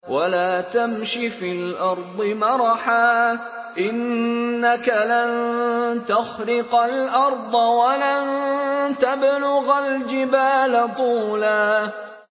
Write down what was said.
وَلَا تَمْشِ فِي الْأَرْضِ مَرَحًا ۖ إِنَّكَ لَن تَخْرِقَ الْأَرْضَ وَلَن تَبْلُغَ الْجِبَالَ طُولًا